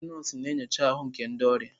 Ndị nọọsụ na-enyocha ahụ nke ndị ọrịa.